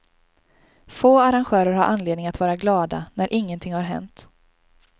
Få arrangörer har anledning att vara glada när ingenting har hänt.